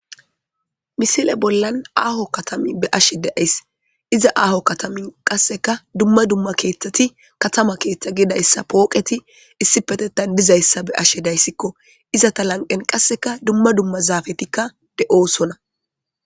Misile bollan aaho katami be7ashe de7ays. Iza aaho katamin qasseka dumma dumma keeththati katama keeththa gidayssa pooqeti issipetetan dizayssa be7ashe dayssikko. Izata lanqqen qasseka dumma dumma zaafetikka de7oosona.